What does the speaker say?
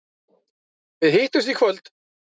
Við hittumst í kvöld.